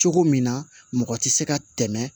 Cogo min na mɔgɔ tɛ se ka tɛmɛ